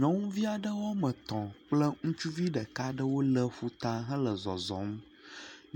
Nyɔnuvi aɖe woame etɔ̃ kple ŋutsuvi ɖeka ɖewo le ƒuta hele zɔzɔm,